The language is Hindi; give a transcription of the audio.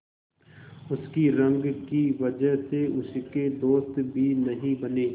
उसकी रंग की वजह से उसके दोस्त भी नहीं बने